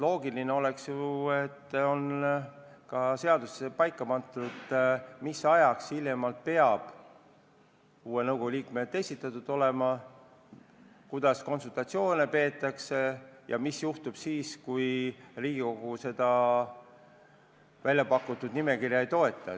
Loogiline oleks ju, et seaduses on kirjas, mis ajaks hiljemalt peavad uue nõukogu liikmed esitatud olema, kuidas konsultatsioone peetakse ja mis juhtub siis, kui Riigikogu väljapakutud nimekirja ei toeta.